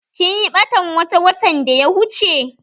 Kinyi ɓatan wata watan da ya wuche?